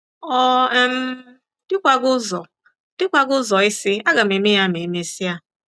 Ọ um dịkwaghị ụzọ dịkwaghị ụzọ ịsị, ‘ Aga m eme ya ma e mesịa. '